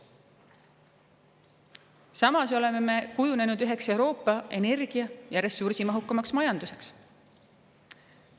Samas oleme me kujunenud üheks Euroopa energia- ja ressursimahukamaks majanduseks.